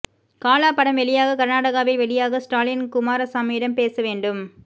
காலா படம் வெளியாக கர்நாடகாவில் வெளியாக ஸ்டாலின் குமாராசாமியிடம் பேச வேண்டும்